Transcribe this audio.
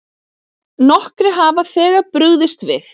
Nokkrir hafa þegar brugðist við.